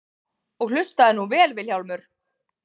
Og hlustaðu nú vel Vilhjálmur.